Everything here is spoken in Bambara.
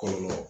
Kɔlɔlɔ